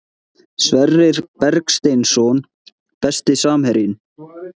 Sverrir Bergsteinsson Besti samherjinn?